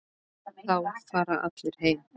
Þá fara allir heim.